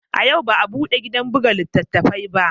A yau ba a bude gidan buga littattafai ba